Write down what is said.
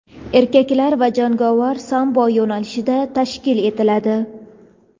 erkaklar va jangovar sambo yo‘nalishida tashkil etiladi.